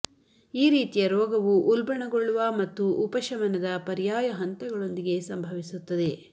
ಈ ರೀತಿಯ ರೋಗವು ಉಲ್ಬಣಗೊಳ್ಳುವ ಮತ್ತು ಉಪಶಮನದ ಪರ್ಯಾಯ ಹಂತಗಳೊಂದಿಗೆ ಸಂಭವಿಸುತ್ತದೆ